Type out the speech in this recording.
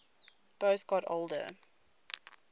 boas got older